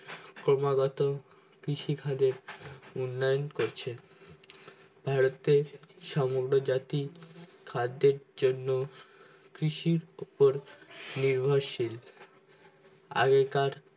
ক্রমাগত খিরি খাদের উন্নয়ন করছে ভারতের সমগ্র জাতি খাদ্যের জন্য কৃষির উপর নির্ভরশীল আগেকার